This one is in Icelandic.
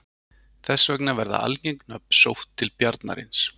þess vegna verða algeng nöfn sótt til bjarnarins